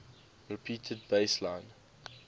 repeated bass line